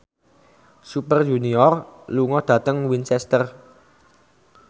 Super Junior lunga dhateng Winchester